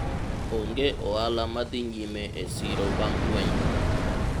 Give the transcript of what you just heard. ong'e ohala madhi nyime e siro bang' lweny no